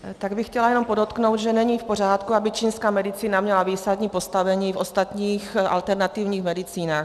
Tak bych chtěla jenom podotknout, že není v pořádku, aby čínská medicína měla výsadní postavení v ostatních alternativních medicínách.